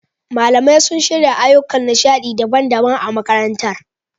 Malamai sun shirya ayyukan nishaɗi daban-daban a makarantar.